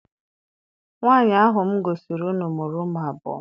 Nwaanyi ahụ m gosiri unu mụrụ ụmụ abụọ.